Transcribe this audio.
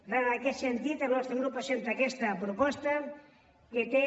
per tant en aquest sentit el nostre grup presenta aquesta proposta que té